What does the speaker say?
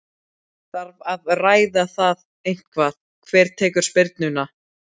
Þarf að ræða það eitthvað hver tekur spyrnuna?